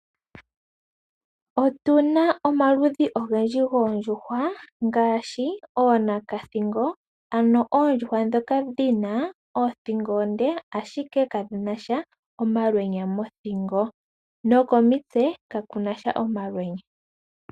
Otu na omaludhi ogendji goondjuhwa, ngaashi ooNakathingo, ano oondjuhwa ndhoka dhi na oothingo oonde, ashike kadhi na sha omalwenya mothingo, nokomitse kaku na sha omalwenya.